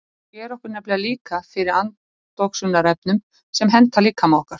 Hún sér okkur nefnilega líka fyrir andoxunarefnum sem henta líkama okkar.